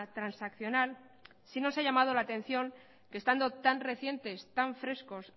transaccional sí no se ha llamado la atención que estando tan frescos tan recientes